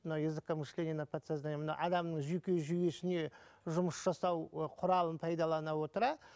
мына языкомышление на подсознание мына адамның жүйке жүйесіне жұмыс жасау ы құралын пайдалана отыра